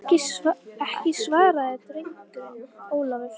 Ekki, svaraði drengurinn Ólafur.